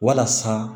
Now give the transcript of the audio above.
Walasa